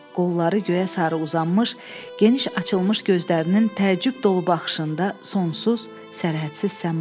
Qolları göyə sarı uzanmış, geniş açılmış gözlərinin təəccüb dolu baxışında sonsuz, sərhədsiz səma.